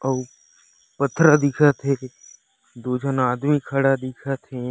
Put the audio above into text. अऊ पथरा दिखत हे दु झन आदमी खड़ा दिखत हे।